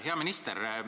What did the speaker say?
Hea minister!